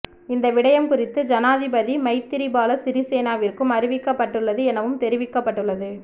இந்த விடயம் குறித்து ஜனாதிபதி மைத்திரிபால சிறிசேனவிற்கும் அறிவிக்கப்பட்டுள்ளது எனவும் தெரிவிக்கப்பட்டுள்ளது